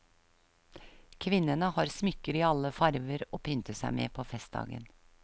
Kvinnene har smykker i alle farver å pynte seg med på festdagen.